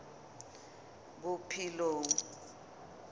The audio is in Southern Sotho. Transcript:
bophelong